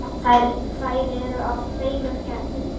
Þær eru af tveimur gerðum.